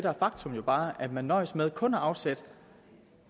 er faktum jo bare at man nøjes med kun at afsætte